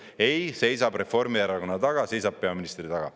Ei, seisab Reformierakonna taga, seisab peaministri taga.